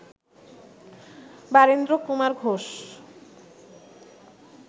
Barindrakumar Ghosh